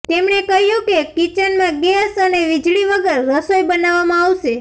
તેમણે કહ્યું કે કિચનમાં ગેસ અને વીજળી વગર રસોઈ બનાવવામાં આવશે